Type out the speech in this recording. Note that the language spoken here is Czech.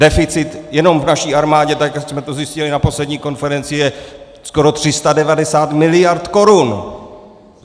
Deficit jenom v naší armádě, tak jak jsme to zjistili na poslední konferenci, je skoro 390 miliard korun.